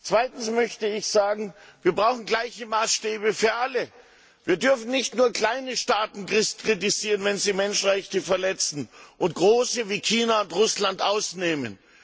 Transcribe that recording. Zweitens möchte ich sagen Wir brauchen gleiche Maßstäbe für alle, wir dürfen nicht nur kleine Staaten kritisieren, wenn sie Menschenrechte verletzen, und große wie China und Russland ausnehmen.